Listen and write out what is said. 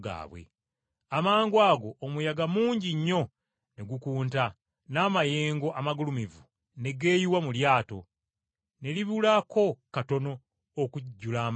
Amangwago omuyaga mungi nnyo ne gukunta n’amayengo amagulumivu ne geeyiwa mu lyato ne libulako katono okujjula amazzi.